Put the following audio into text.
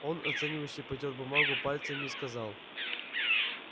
он оценивающе потёр бумагу пальцами и сказал